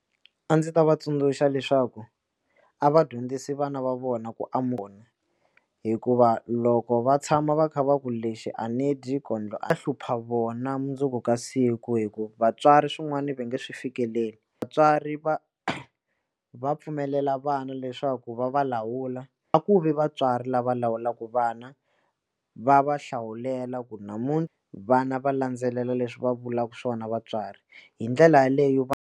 A ndzi ta va tsundzuxa leswaku a va dyondzisi vana va vona ku hikuva loko va tshama va kha va ku lexi a ni dyi kondlo va hlupha vona mundzuku ka siku hikuva vatswari swin'wana va nga swi fikeleli vatswari va va pfumelela vana leswaku va va lawula a ku vi vatswari lava lawulaka vana va va hlawulela ku vana va landzelela leswi va vulaka swona vatswari hi ndlela yaleyo .